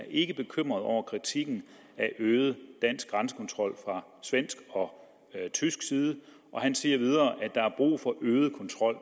ikke bekymret over kritikken af øget dansk grænsekontrol fra svensk og tysk side han sagde videre at der er brug for øget kontrol